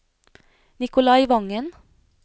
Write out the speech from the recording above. Nikolai Vangen